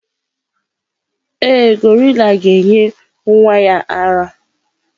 Ee, gorilla ga-enye nwa ya ara.